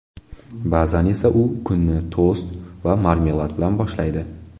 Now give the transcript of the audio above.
Ba’zan esa u kunni tost va marmelad bilan boshlaydi.